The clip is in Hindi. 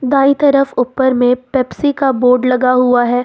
दाईं तरफ ऊपर में पेप्सी का बोर्ड लगा हुआ है।